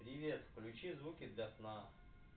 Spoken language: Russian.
привет включи звуки для сна